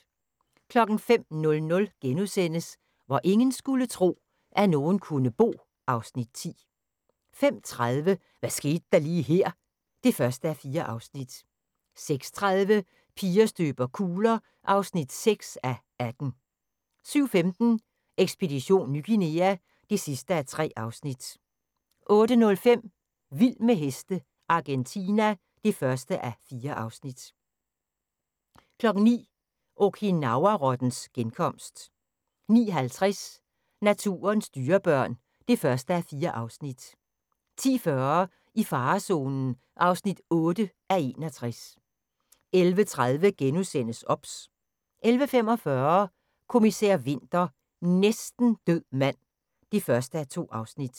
05:00: Hvor ingen skulle tro, at nogen kunne bo (Afs. 10)* 05:30: Hvad skete der lige her? (1:4) 06:30: Piger støber kugler (6:18) 07:15: Ekspedition Ny Guinea (3:3) 08:05: Vild med heste - Argentina (1:4) 09:00: Okinawa-rottens genkomst 09:50: Naturens dyrebørn (1:4) 10:40: I farezonen (8:61) 11:30: OBS * 11:45: Kommissær Winter: Næsten død mand (1:2)